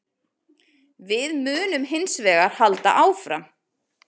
Við munum hins vegar halda áfram